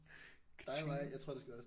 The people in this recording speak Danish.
Katjing